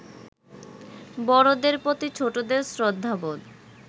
বড়দের প্রতি ছোটদের শ্রদ্ধাবোধ